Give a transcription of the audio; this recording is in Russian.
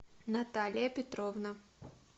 наталия петровна